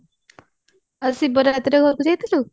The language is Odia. ଆଉ ଶିବ ରାତ୍ରିରେ ଘରକୁ ଯାଇଥିଲୁ